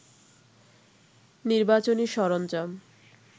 নির্বাচনী সরঞ্জাম